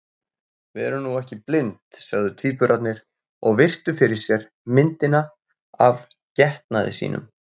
Við erum nú ekki blind, sögðu tvíburarnir og virtu fyrir sér myndina af getnaði sínum.